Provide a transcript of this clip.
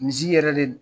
Misi yɛrɛ de don